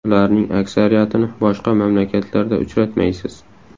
Ularning aksariyatini boshqa mamlakatlarda uchratmaysiz.